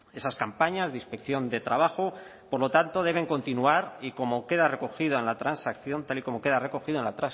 esas campañas de inspección de trabajo por lo tanto deben continuar y como queda recogido en la transacción tal y como queda recogido en la